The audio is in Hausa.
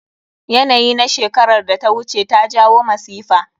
Yanayi na shekerar da ta wuce ta jawo masifa.